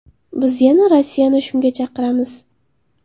Biz yana Rossiyani shunga chaqiramiz.